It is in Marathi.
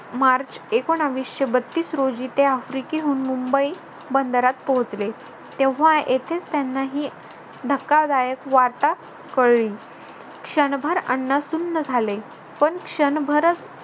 मार्च एकोनाविशे बत्तीस रोजी ते आफ्रिकेहून मुंबई बंदरात पोहोचले. तेव्हा येथेस त्यांनाही धक्कादायक वार्ता कळली. क्षणभर अण्णा सुन्न झाले पण क्षणभरच